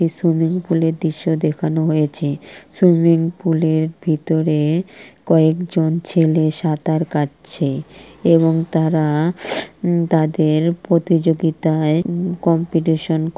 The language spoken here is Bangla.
একটি সুইমিং পুলের দৃশ্য দেখানো হয়েছে | সুইমিং পুলের ভিতরে কয়েকজন ছেলের সাঁতার কাটছে | এবং তারা তাদের প্রতিযোগিতায় কম্পিটিশন --